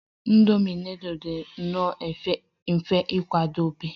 Indomi nudul dị nnọọ mfe ịkwadebe